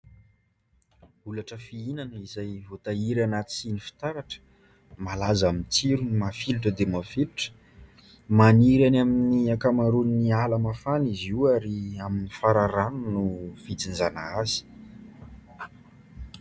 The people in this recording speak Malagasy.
Olatra fihinana izay voatahiry anaty siny fitaratra, malaza amin'ny tsirony mafilotra dia mafilotra. Maniry eny amin'ny ankamaroan'ny ala mafana izy io ary amin'ny fararano no fijinjana azy.